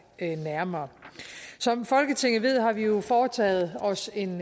nærmere som folketinget ved har vi jo foretaget os en